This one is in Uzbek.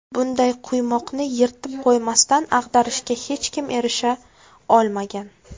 Bunday quymoqni yirtib qo‘ymasdan ag‘darishga hech kim erisha olmagan.